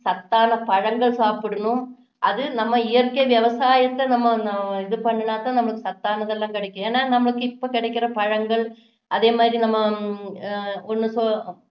சத்தான பழங்கள் சாப்பிடணும் அது நம்ம இயற்கை விவசாயத்தை நம்ம இது பண்ணுனா தான் நமக்கு சத்தானது எல்லாம் கிடைக்கும் ஏன்னா நமக்கு இப்போ கிடைக்குற பழங்கள் அதே மாதிரி நம்ம